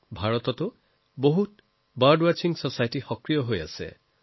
ভাৰততো বহু চৰাইৰ সন্ধানী ছচাইটি সক্ৰিয় হৈ আছে